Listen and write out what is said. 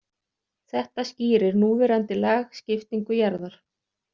Þetta skýrir núverandi lagskiptingu jarðar.